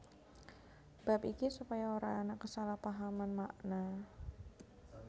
Bab iki supaya ora ana kesalahpahaman makna